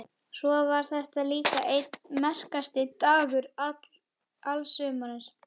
Svo var þetta líka einn merkasti dagur alls sumarsins.